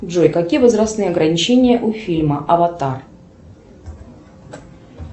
джой какие возрастные ограничения у фильма аватар